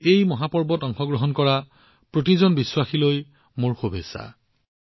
এই মহান উৎসৱত অংশগ্ৰহণ কৰা প্ৰতিজন ভক্তলৈ মোৰ শুভেচ্ছা থাকিল